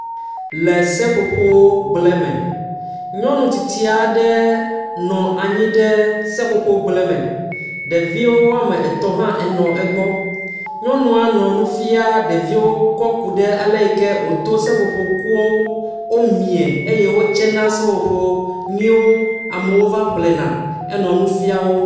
Botokoe, ami, nutɔgba, edzo, nutɔgatsi, kushi, gagba, amigago, ekpe, edzo nake.